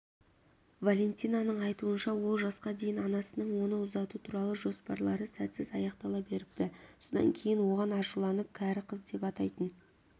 валентинаның айтуынша ол жасқа дейін анасының оны ұзату туралы жоспарлары сәтсіз аяқтала беріпті содан кейін оған ашуланып кәрі қыз деп атайтын